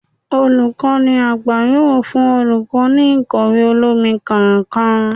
Olukọni àgbá yóò fún olukọ, ní ikọwe olomí kọọkan